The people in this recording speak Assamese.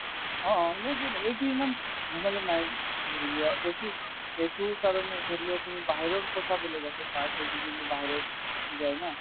অ, এইটো ইমান ভেজালো নাই ধৰিলোৱা সেইটোৰ কাৰণে ধৰিলোৱা তুমি বাহিৰৰ কথা বেলেগ আছে বাহিৰত যায় না